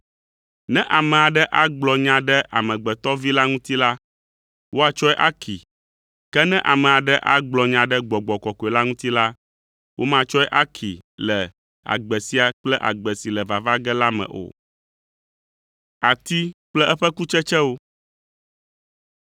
Ne ame aɖe agblɔ nya ɖe Amegbetɔ Vi la ŋuti la, woatsɔe akee, ke ne ame aɖe agblɔ nya ɖe Gbɔgbɔ Kɔkɔe la ŋuti la, womatsɔe akee le agbe sia kple agbe si le vava ge la me o.